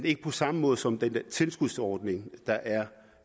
ikke på samme måde som med tilskudsordningen